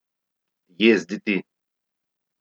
Jezditi.